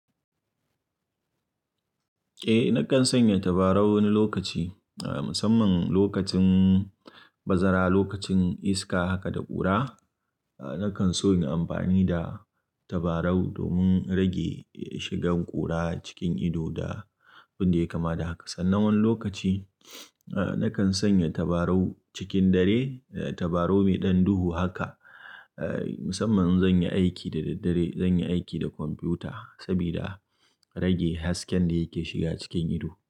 Eh, nakan sanya tabarau wani lokaci, ah, musamman lokacin bazara, lokacin iska haka da ƙura. Nakan so in yi amfani da tabarau domin rage shigan ƙura cikin ido da abin da ya kama da haka. Sannan wani lokaci, ah, nakan sanya tabarau cikin dare, tabarau mai ɗan duhu haka. Ah, musamman in zan yi aiki da daddare, zan yi aiki da kwamfuta sabida rage hasken da yake shiga cikin ido.